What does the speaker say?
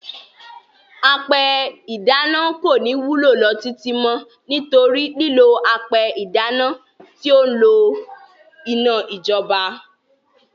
Apẹ ìdáná kò ní wúlò lọ títí mọ́, nítorí lílò apẹ ìdáná tí ó n lo iná ìjọba.